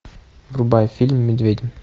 врубай фильм медведи